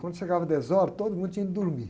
Quando chegava dez horas, todo mundo tinha ido dormir.